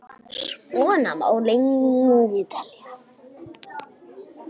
Svona má lengi telja.